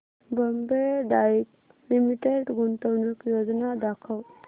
Bombay Dyeing Limited गुंतवणूक योजना दाखव